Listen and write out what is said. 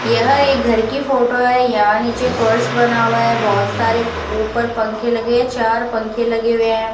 यह एक घर की फोटो है यहां नीचे फर्श बना हुआ है बहुत सारे ऊपर पंख लगे है चार पंखे लगे हुए हैं।